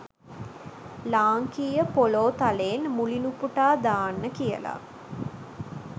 ලාංකීය පොළෝ තලයෙන් මුලිනුපුටා දාන්න කියලා.